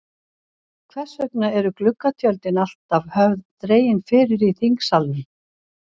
Hvers vegna eru gluggatjöldin alltaf höfð dregin fyrir í þingsalnum?